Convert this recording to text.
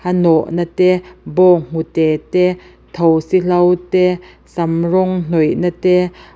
nawhna te bawnghnute te thosi hlo te sam rawng hnawihna te.